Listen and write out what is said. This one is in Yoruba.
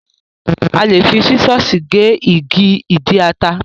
A lè fi sísọ̀sì gé igi ìdí ata.